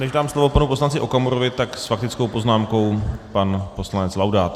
Než dám slovo panu poslanci Okamurovi, tak s faktickou poznámkou pan poslanec Laudát.